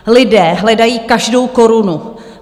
Lidé hledají každou korunu.